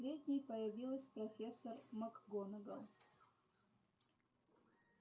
последней появилась профессор макгонагалл